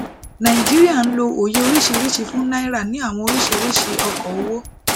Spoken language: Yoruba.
naijiria ń lọ òye oríṣiríṣi fún náírà ni àwọn oríṣiríṣi ọkọ owó